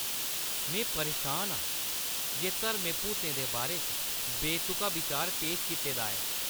में परेशान आं जे धर्में भूतें दे बारे च बेतुका बिचार पेश कीते दा ऐ।